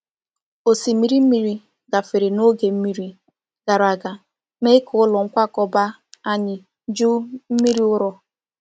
Osimiri mmiri gafere n’oge mmiri gara aga, mee ka ụlọ nkwakọba anyị juo mmiri ụrọ.